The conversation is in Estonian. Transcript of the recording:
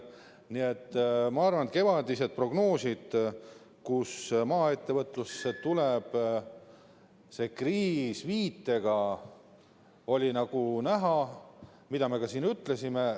Nii et ma arvan, et kevadised prognoosid selle kohta, et maaettevõtlusse tuleb see kriis viitega, olid õiged, nagu me ka siin ütlesime.